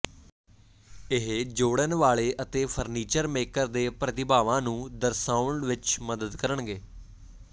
ਉਹ ਜੋੜਨ ਵਾਲੇ ਅਤੇ ਫਰਨੀਚਰ ਮੇਕਰ ਦੇ ਪ੍ਰਤਿਭਾਵਾਂ ਨੂੰ ਦਰਸਾਉਣ ਵਿੱਚ ਮਦਦ ਕਰਨਗੇ